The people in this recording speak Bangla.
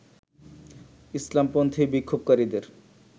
ইসলামপন্থী বিক্ষোভকারীদের